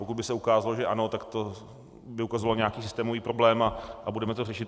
Pokud by se ukázalo, že ano, tak to by ukazovalo nějaký systémový problém a budeme to řešit.